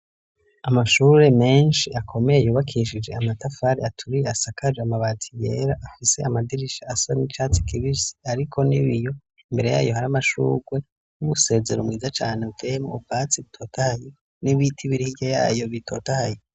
Amashure menshi akomeye yubakishije amatafari aturiye asakaje amabati yera afise amadirisha asomye icatsi kibissi, ariko ni bo iyo imbere yayo hari amashurwe n'umusezero mwiza cane utemu uvatsi totayo n'ibiti b'irihirya yayo bitotayo.